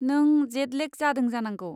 नों जेट लेग जादों जानांगौ।